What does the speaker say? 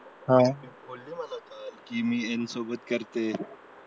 आह ती बोलली मला कि मी याला सोबत करते